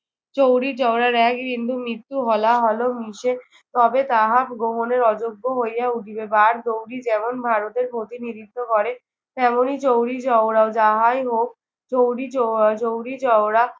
চৌরিচৌরার এক বিন্দু মৃত্যু হলাহলও মিশে তবে তাহা গ্রহণের অযোগ্য হইয়া উঠিবে। বারদৌরি যেমন ভারতের প্রতিনিধিত্ব করে তেমনি চৌরিচৌরাও। যাহাই হোক, চৌরিচৌ চৌরিচৌরা